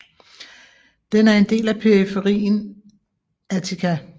Den er en del af periferien Attica